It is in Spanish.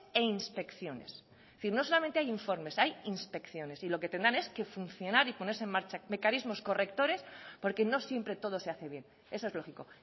e inspecciones es decir no solamente hay informes hay inspecciones y lo que tendrán es que funcionar y ponerse en marcha mecanismos correctores porque no siempre todo se hace bien eso es lógico